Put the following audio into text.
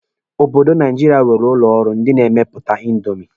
Obodo Naijiria nwere ụlọ ọrụ ndị na-emepụta índomi.